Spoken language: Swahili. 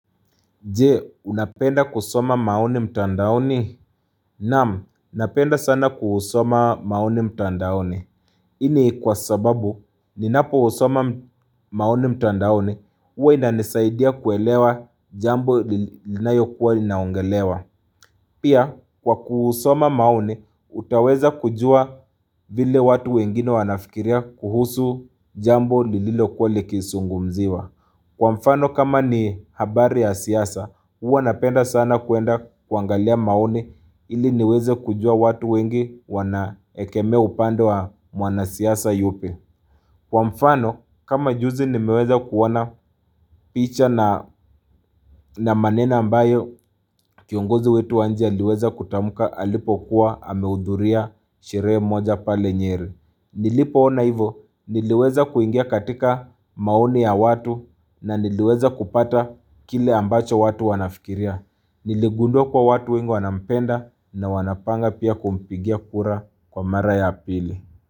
Je, unapenda kusoma maoni mtandaoni? Naam, napenda sana kusoma maoni mtandaoni. Hii ni kwa sababu, ninapo usoma maoni mtandaoni, uwe nanesaidia kuelewa jambo linalokuwa linaongelewa. Pia, kwa kusoma maoni, utaweza kujua vile watu wengine wanafikiria kuhusu jambo lililokuwa likisungumziwa. Kwa mfano kama ni habari ya siasa, uwa napenda sana kuenda kuangalia maoni ili niweze kujua watu wengi wanaekeme upando wa mwanasiasa yupi. Kwa mfano kama juzi nimeweze kuona picha na maneno ambayo kiongozi wetu wanchi aliweze kutamka alipo kuwa ameudhuria sheree moja pale nyeri. Nilipo ona hivo niliweza kuingia katika maoni ya watu na niliweza kupata kile ambacho watu wanafikiria. Niligundua kwa watu winge wanampenda na wanapanga pia kumpigia kura kwa mara ya pili.